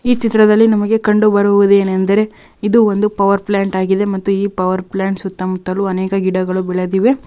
ಈ ಚಿತ್ರದಲ್ಲಿ ನಮಗೆ ಕಂಡು ಬರುವುದು ಏನೆಂದರೆ ಇದು ಒಂದು ಪವರ ಪ್ಯ್ಲಾಂಟ ಆಗಿದೆ ಮತ್ತು ಈ ಪವರ್ ಪ್ಯ್ಲಾಂಟ ಸುತ್ತಮುತ್ತಲು ಅನೇಕ ಗಿಡಗಳು ಬೆಳೆದಿವೆ .